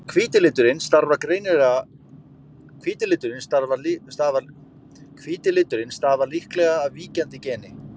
Hvíti liturinn stafar líklega af víkjandi geni.